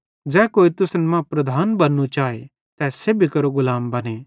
ज़ै कोई तुसन मां प्रधान बन्नू चाए तै सेब्भी केरो गुलाम बने